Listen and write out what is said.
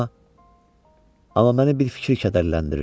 Amma amma məni bir fikir kədərləndirir.